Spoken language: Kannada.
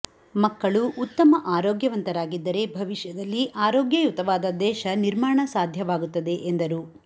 ಮಕ್ಕಳು ಉತ್ತಮ ಆರೋಗ್ಯವಂತರಾಗಿದ್ದರೆ ಭವಿಷ್ಯದಲ್ಲಿ ಆರೋಗ್ಯಯುತವಾದ ದೇಶ ನಿರ್ಮಾಣ ಸಾಧ್ಯವಾಗುತ್ತದೆ ಎಂದರು